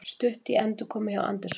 Stutt í endurkomu hjá Anderson